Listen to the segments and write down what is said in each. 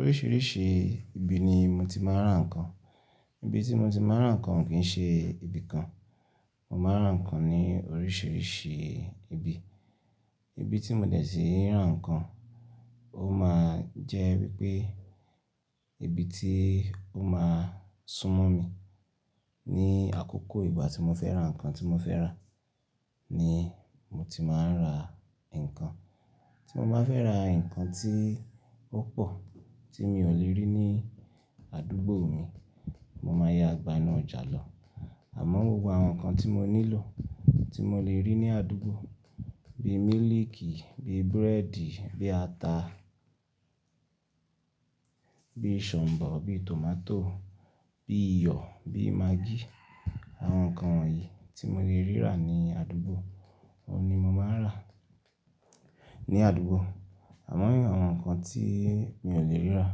Oríṣìíríṣìí ibi ni mo ti máa ń rà ǹkan. Ibi tí mo ti máa ń rà ǹkan kì ṣe ibi kan. Mo máa ń rà ǹkan ní oríṣìíríṣìí ibi. Ibi tí mo dẹ̀ síí rà ǹkan, ó máa jẹ́ wípé ibi tí ó máa sún mọ́ mi ní àkókò ìgbà tí mo fẹ́ rà ǹkan tí mo fẹ́ rà ni mo ti máa ń rà ǹkan. Tí mo máa fẹ́ ra ǹkan tí ó pọ̀ tí mi ò lè rí ní àdúgbò mi, mo máa ya gbá inú ọjà lọ. Àmọ́ gbogbo àwọn nǹkan tí mo nílò tí mo lè rí ní àdúgbò bíi mílíìkì, bíi búrẹ́dì, bíi ata, bíi ṣọ̀ǹbọ̀, bíi tòmátò, bíi iyọ̀, bíi maagí. Àwọn nǹkan wọ̀nyí tí mo lè rí rà ní àdúgbò, òun ni mo máa ń rà ní àdúgbò. Àmọ́ àwọn nǹkan tí mi ò lè rí rà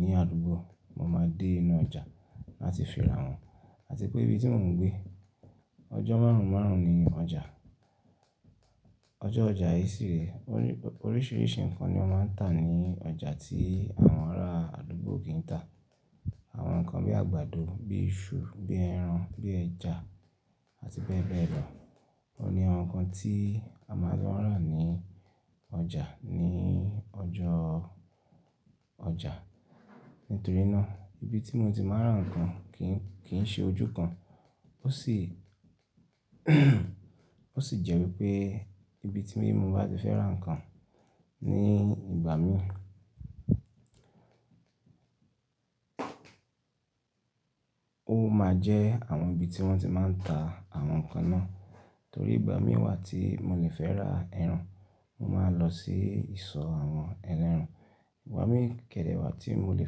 ní àdúgbò, mo máa dé inú ọjà láti fi ra wọ́n. Àti pé ibi tí mò ń gbé ọjọ́ márùn-ún márùn-ún ni ọjà, ọjọ́ ọjà yii sì rẹ, oríṣìíríṣìí nǹkan ni wọ́n máa ń tà ní ọjà tí àwọn ará àdúgbò kì í tà. Àwọn nǹkan bíi àgbàdo, bíi iṣu, bíi ẹran, bíi ẹja àti bẹ́ẹ̀ bẹ́ẹ̀ lọ, òun ni àwọn nǹkan tí a máa lo rà ní ọjà ní ọjọ́ ọjà. Nítorí náà ibi tí mo ti máa ń rà ǹkan kì ṣe ojú kan. Ó sì, ó sì jẹ́ wípé ibi tí mo bá ti fẹ́ rà ǹkan ní ìgbà mí, ó máa jẹ́ àwọn ibi tí wọ́n ti máa ń ta àwọn nǹkan náà. Torí ìgbà mí wá tí mo lè fẹ́ ra ẹran, mo máa lọ sí ìsọ̀ àwọn ẹlẹ́ran. Ìgbà mi kẹ̀dẹ̀ wá tí mo lè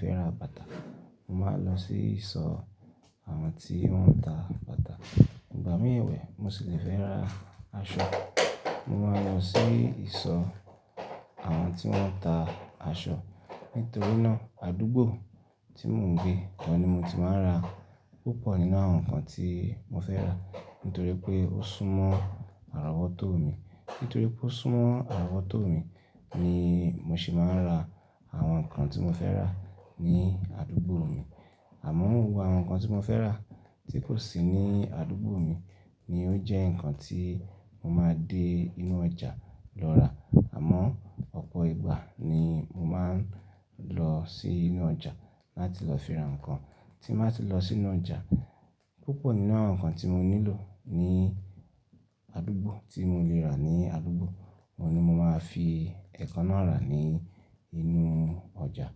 fẹ́ ra bàtà, mo máa lọ sí ìsọ̀ àwọn tí wọ́n ń ta bàtà. Ìgbà mí ẹ̀wẹ̀ mo sì lè fẹ́ ra aṣọ, mo máa lọ sí ìsọ̀ àwọn tí wọ́n ń ta aṣọ. Nítorí náà àdúgbò tí mò ń gbé, ọ̀ ni mo ti máa ń rà púpọ̀ nínú àwọn nǹkan tí mo fẹ́ rà, nítorí pé ó súnmọ́ àrọ́wọ́tó mi. Nítorí pé ó súnmọ́ àrọ́wọ́tó mi ni mo sì máa ń rà àwọn nǹkan tí mo fẹ́ rà ní àdúgbò mi. Àmọ́ gbogbo àwọn nǹkan tí mo fẹ́ rà tí kò sí ní àdúgbò mi ni ó jẹ́ nǹkan tí mo máa dé inú ọjà lọ rà. Àmọ́ ọ̀pọ̀ ìgbà ni mo máa ń lọ sí inú ọjà láti lọ fi ra nǹkan. Tí n ba ti lọ sínú ọjà, púpọ̀ nínú àwọn nǹkan tí mo nílò ní àdúgbò tí mo lè rà ní àdúgbò, òun ni mo máa fi ẹ̀kan náà rà ní inú ọjà.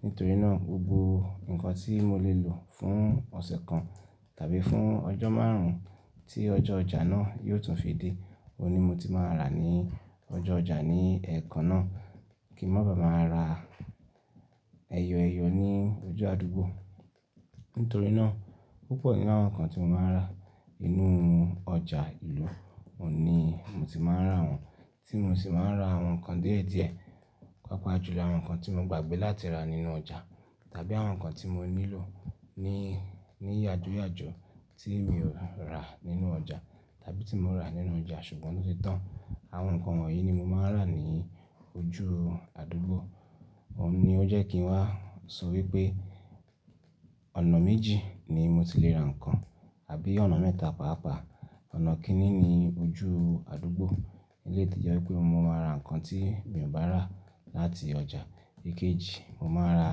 Nítorí náà gbogbo nǹkan tí mo lè lò fún ọ̀sẹ̀ kan tàbí fún ọjọ́ márùn-ún tí ọjọ́ ọjà náà yiò tún fi dé, òun ni mo ti máa rà ní ọjọ́ ọjà ní ẹ̀ẹ̀kan náà kí n máa ba à máa ra ẹyọẹyọ ní ojú àdúgbò. Nítorí náà púpọ̀ nínú àwọn nǹkan tí mo máa ń rà nínú ọjà ìlú, òun ni mo ti máa ń rà wọ́n. Tí mo sì máa ń rà àwọn nǹkan díẹ̀díẹ̀, pàápàá jùlọ àwọn nǹkan tí mo gbàgbé láti rà nínú ọjà tàbí àwọn nǹkan tí mo nílò ní yájoyàjó tí mi ò rà nínú ọjà tàbí tí mo rà nínú ọjà ṣùgbọ́n tó ti tán. Àwọn nǹkan wọ̀nyí ni mo máa ń rà ní ojú àdúgbò. Òun ni ó jẹ́ kí n wá sọ wípé ọ̀nà méjì ni mo ti lè rà ǹkan àbí ọ̀nà mẹ́ta pàápàá. Ọ̀nà kìní ni ojú àdúgbò eleyii to jẹ́ wípé mo máa ra nǹkan tí mi ò bá rà láti ọjà. Ìkéji, mo máa rà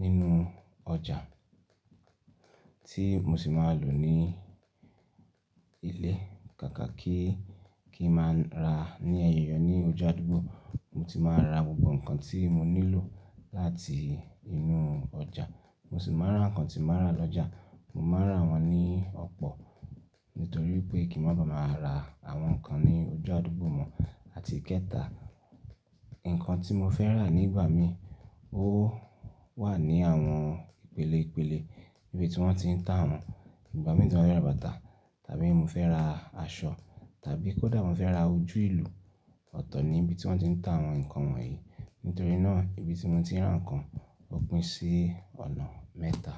nínú ọjà tí mo sì máa lò ní ilé. Kàkà kí, kí n máa ń rà ní ẹyọ ní ojú àdúgbò, mo ti máa ra gbogbo nǹkan tí mo nílò láti inú ọjà. Mo sì máa ra nǹkan tí màá rà lọ́jà, mo máa rà wọ́n ní ọ̀pọ̀ nítorí pé kí n máa ba à máa ra àwọn nǹkan ní ojú àdúgbò mo àti ìkẹta, nǹkan tí mo fẹ́ rà nígbà mí ó wà ní àwọn ìpele ìpele níbi tí wọ́n ti ń ta wọ́n. Ìgbà mí tí mò ba fẹ́ ra bàtà tàbí mò fẹ́ ra aṣọ tàbí kó dà mò fẹ́ ra ojú ìlú, ọ̀tọ̀ ni ibi tí wọ́n ti ń ta àwọn nǹkan wọ̀nyí. Nítorí náà ibi tí mo ti ń rà ǹkan ó pín sí ọ̀nà mẹ́ta.